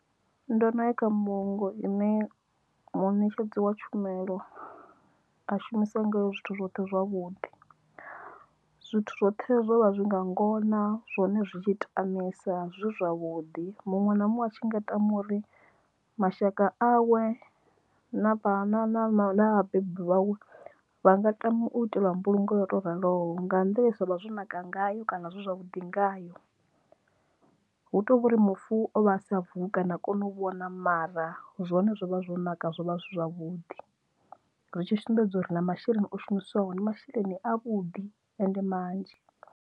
Ndo no ya kha mbulungo ine munetshedzi wa tshumelo a shumisa ngayo zwithu zwoṱhe zwavhuḓi zwithu zwoṱhe zwo vha zwi nga ngona zwone zwi tshi tamisa zwi zwavhuḓi muṅwe na muṅwe a tshi nga ita uri mashaka awe na na na vhabebi vhawe vha nga tamu itelwa mbulungo ya to raloho nga nḓila ye zwa vha zwo naka ngayo kana zwavhuḓi ngayo hu tovhori mufu ovha a sa vuwi kana ha koni u vhona mara zwone zwovha zwo naka zwo vha zwi zwavhuḓi, ri tshi sumbedza uri na masheleni o shumiswaho na masheleni a vhuḓi ende manzhi.